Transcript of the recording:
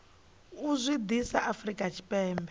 u zwi ḓisa afrika tshipembe